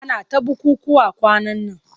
Ana ta bukukkuwa kwanan nan.